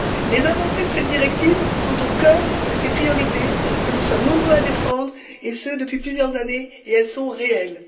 Les avancées de cette directive sont au cœur de ces priorités, que nous sommes nombreux à défendre depuis plusieurs années, et elles sont réelles.